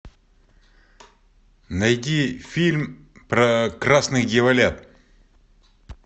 найди фильм про красных дьяволят